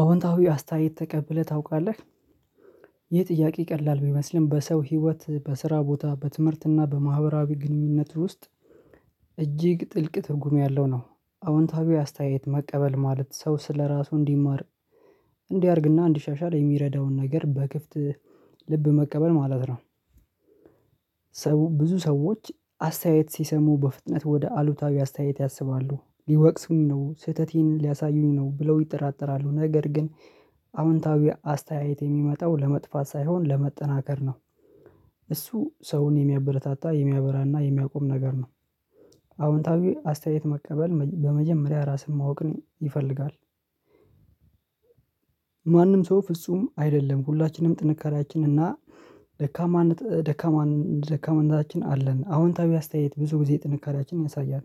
አዎንታዊ አስተያየት ተቀብለህ ታውቃለህ ይህ ጥያቄ ቀላል ቢመስልም በሰው ህይወት በስራ ቦታ በትምህርትና በማህበራዊ ግንኙነት ውስጥ እጅግ ጥልቅ ትርጉም ያለው ነው። አዎንታዊ አስተያየት መቀበል ማለት ሰው ስለራሱ እንዲማር እንዲያድግና እንዲሻሻል የሚረዳውን ነገር በክፍት ልብ መቀበል ማለት ነው። ብዙ ሰዎች አስተያየት ሲሰሙ በፍጥነት ወደ አሉታዊ አስተያየት ያስባሉ ሊወቅሱኝ ነው ስህተቴን ሊያሳዩኝ ነው ብለው ይጠራጠራሉ ነገር ግን አዎንታዊ አስተያየት የሚመጣው ለመጥፋት ሳይሆን ለመጠናከር ነው እሱ ሰውን የሚያበረታታ የሚያበራና የሚያቆም ነገር ነው። አዎንታዊ አስተያየት መቀበል በመጀመሪያ ራስን ማወቅ ይፈልጋል። ማንም ሰው ፍጹም አይደለም። ሁላችንም ጥንካሬያችን እና ደካማ ደካማ ደካማናታችን አለን። አዎንታዊ አስተያየት ብዙ ጊዜ ጥንካሬያችንን ያሳያል።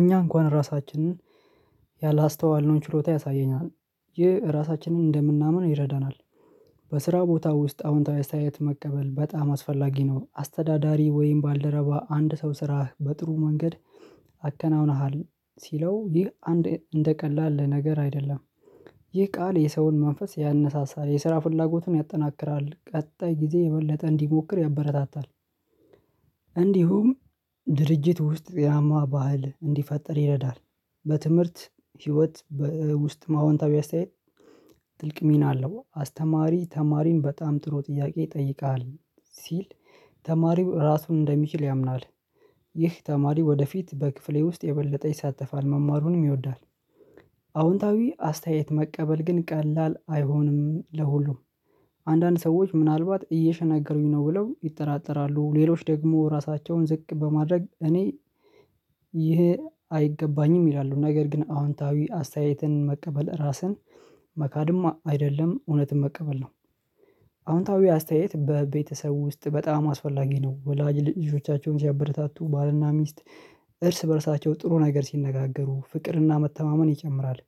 እኛ እንኳን ራሳችንን ያላስተዋልነውን ችሎታ ያሳየኛል ይህ እራሳችንን እንደምናምን ይረዳናል። በስራ ቦታ ውስጥ አዎንታዊ አስተያየት መቀበል በጣም አስፈላጊ ነው። አስተዳዳሪ ወይም ባልደረባ አንድ ሰው ስራህ በጥሩ መንገድ አከናውነሃል ሲለው ይህ አንድ እንደ ቀላል ነገር አይደለም። ይህ ቃል የሰውን መንፈስ ያነሳሳል የስራ ፍላጎትን ያጠናክራል ቀጣይ ጊዜ የበለጠ እንዲሞክር ያበረታታል። እንዲሁም ድርጅት ውስጥ ጤናማ ባህል እንዲፈጠር ይረዳል። በትምህርት ህይወት በውስጥ አወንታዊ አስተያየት ጥልቅ ሚና አለው አስተማሪ ተማሪም በጣም ጥሩ ጥያቄ ጠይቃሃል ሲል ተማሪው ራሱን እንደሚችል ያምናል። ይህ ተማሪው ወደፊት በክፍሌ ውስጥ የበለጠ ይሳተፋል መማሩንም ይወዳል። አዎንታዊ አስተያየት መቀበል ግን ቀላል አይሆንም። ለሁሉም አንዳንድ ሰዎች ምናልባት እየሸነገሉኝ ነው ብለው ይጠራጠራሉ ሌሎች ደግሞ ራሳቸውን ዝቅ በማድረግ እኔ ይሄ አይገባኝም ይላሉ ነገር ግን አዎንታዊ አስተያየትን መቀበል ራስን መካድም አይደለም እውነትም መቀበል ነው። አዎንታዊ አስተያየት በቤተሰቡ ውስጥ በጣም አስፈላጊ ነው ወላጅ ልጆቻቸውን ሲያበረታቱ ባልና ሚስት እርስ በእርሳቸው ጥሩ ነገር ሲነጋገሩ ፍቅርና መተማመን ይጨምራል።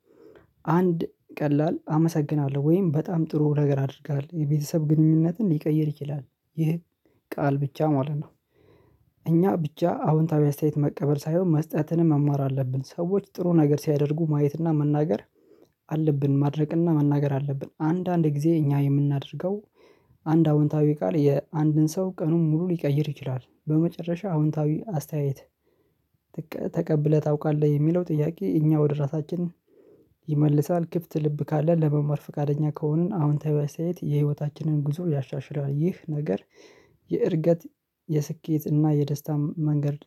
አንድ ቀላል አመሰግናለሁ ወይም በጣም ጥሩ ነገር አድርገሃል የቤተሰብ ግንኙነትን ሊቀይር ይችላል ይህ ቃል ብቻ ማለት ነው። እኛ ብቻ አዎንታዊ አስተያየት መቀበል ሳይሆን መስጠትንም መማር አለብን ሰዎች ጥሩ ነገር ሲያደርጉ ማየትና መናገር አለብን ማድረግ እና መናገር አለብን አንዳንድ ጊዜ እኛ የምናደርገው አንድ አዎንታዊ ቃል የአንድን ሰው ቀኑን ሙሉ ሊቀይር ይችላል። በመጨረሻ አዎንታዊ አስተያየት ተቀብለህ ታውቃለህ የሚለው ጥያቄ እኛ ወደ ራሳችን ይመልሳል ክፍት ልብ ካለ ለመመር ፍቃደኛ ከሆንን አዎንታዊ አስተያየት የህይወታችንን ጉዞ ያሻሽላል። ይህ ነገር የእድገት የስኬት እና የደስታ መንገድ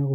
ነው።